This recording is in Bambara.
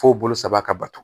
F'o bolo saba ka bato